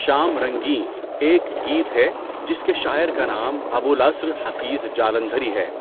شام رنگیں ایک گیت ہے جس کے شاعر کا نام ابو الٔاَثر حفیظ جالندھری ہے۔